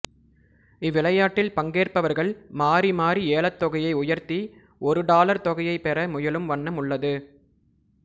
இவ்விளையாட்டில் பங்கேற்பவர்கள் மாறி மாறி ஏலத்தொகையை உயர்த்தி ஒரு டாலர் தொகையைப் பெற முயலும் வண்ணம் உள்ளது